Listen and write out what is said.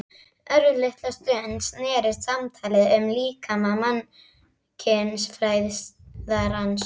Örlitla stund snerist samtalið um líkama mannkynsfræðarans.